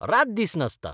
रात दीस नाचता.